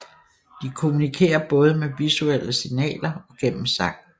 De kommunikerer både med visuelle signaler og gennem sang